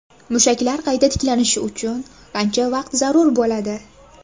Mushaklar qayta tiklanishi uchun qancha vaqt zarur bo‘ladi?